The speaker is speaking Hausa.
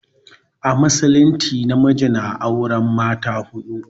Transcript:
A musulumci namiji na auren mata huɗu.